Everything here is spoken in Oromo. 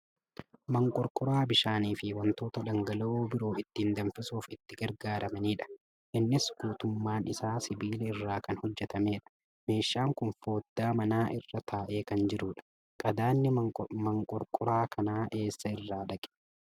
Maanqorqoraa bishaaniifi wantoota dhangala'oo biroo ittiin danfisuuf itti gargaaramanidha. Innis guutummaan isaa sibiila irraa kan hojjatamedha. Meeshaan kun foddaa manaa irra taa'ee kan jirudha. Qadaadni maanqorqoraa kanaa eessa irraa dhaqee?